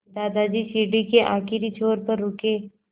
दादाजी सीढ़ी के आखिरी छोर पर रुके